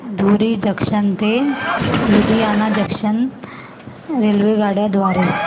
धुरी junction ते Ludhiana junction रेल्वेगाड्यां द्वारे